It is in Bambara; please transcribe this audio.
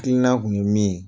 ina tun ye min ye